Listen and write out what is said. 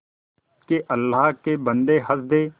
के अल्लाह के बन्दे हंस दे